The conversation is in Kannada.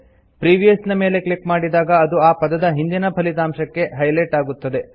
ಪ್ರಿವಿಯಸ್ ನ ಮೇಲೆ ಕ್ಲಿಕ್ ಮಾಡಿದಾಗ ಅದು ಆ ಪದದ ಹಿಂದಿನ ಫಲಿತಾಂಶಕ್ಕೆ ಹೈಲೆಟ್ ಆಗುತ್ತದೆ